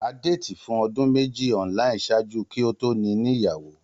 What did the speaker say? A dated fun odun meji online ṣaaju ki o to nini iyawo.